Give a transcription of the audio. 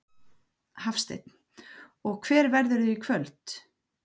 Hafsteinn: Og hver verðurðu í kvöld?